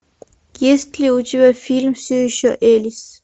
есть ли у тебя фильм все еще элис